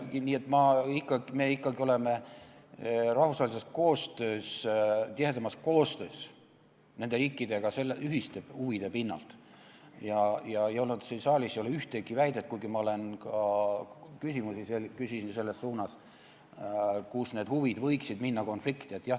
Nii et me ikkagi oleme nende riikidega rahvusvahelises koostöös, ühiste huvide pinnalt tihedamas koostöös ja siin saalis ei ole ühtegi väidet – kuigi ma küsisin ka selles suunas küsimusi –, kus need huvid võiksid minna konflikti.